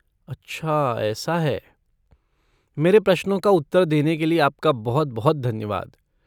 अच्छा ऐसा है। मेरे प्रश्नों का उत्तर देने के लिए आपका बहुत बहुत धन्यवाद।